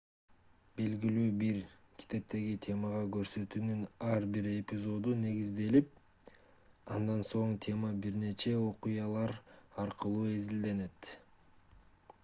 белгилүү бир китептеги темага көрсөтүүнүн ар бир эпизоду негизделип андан соң тема бир нече окуялар аркылуу изилденет